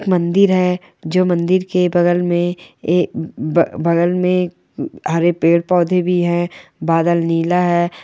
मंदिर है जो मंदिर के बगल में हरे पेड़ पौधे भी है बादल नीला है।